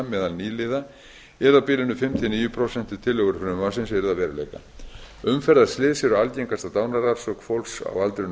meðal nýliða yrði á bilinu fimm til níu prósent ef tillögur frumvarpsins yrðu að veruleika umferðarslys eru algengasta dánarorsök fólks á aldrinum fimmtán